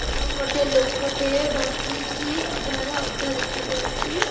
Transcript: ଏବଂ ଗୋଟେ ଲୋକଟେ ବସିଚି ଆଉ ଯାହାର ଅଧା ଦେଖା ଯାଉଛି।